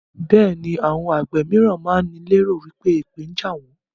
Bẹẹni àwọn àgbẹ̀ mìíràn máa ń ní lé ro wípé èpè ń jà àwọn.